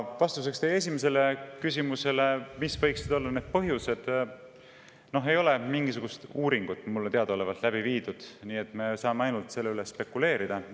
Vastuseks teie esimesele küsimusele, mis võiksid olla need põhjused, mulle teadaolevalt mingisugust uuringut läbi viidud ei ole, me saame selle üle ainult spekuleerida.